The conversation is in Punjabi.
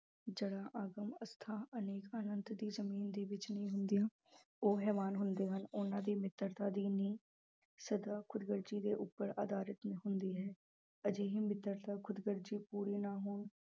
ਜੜ੍ਹਾਂ ਅਗਮ ਅਥਾਂਹ ਅਨੇਕ ਅਨੰਤ ਦੀ ਜ਼ਮੀਨ ਦੇ ਵਿੱਚ ਨਹੀਂ ਹੁੰਦੀਆਂ, ਉਹ ਹੈਵਾਨ ਹੁੰਦੇ ਹਨ ਉਹਨਾਂ ਦੀ ਮਿੱਤਰਤਾ ਦੀ ਨੀਂਹ ਸਦਾ ਖ਼ੁਦਗਰਜ਼ੀ ਦੇ ਉੱਪਰ ਆਧਾਰਿਤ ਹੁੰਦੀ ਹੈ ਅਜਿਹੀ ਮਿੱਤਰਤਾ ਖ਼ੁਦਗਰਜ਼ੀ ਪੂਰੀ ਨਾ ਹੋਣ